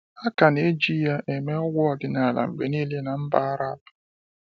A ka neji ya eme ọgwụ ọdinala mgbe niile ná mba Arab.